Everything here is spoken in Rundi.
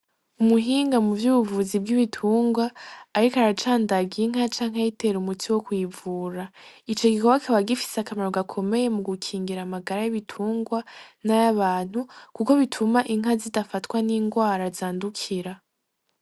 Umuhinga mu vyubuvuzi bw'ibitungwa, ariko aracandagiye inka canke ayitera umutsi wo kwivura ico gikoba akaba gifise akamaro gakomeye mu gukingira amagara y'ibitungwa n'ay' abantu, kuko bituma inka zidafatwa n'ingwara azandukira.